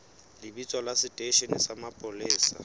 lebitso la seteishene sa mapolesa